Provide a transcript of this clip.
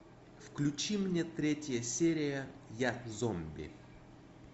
включи мне третья серия я зомби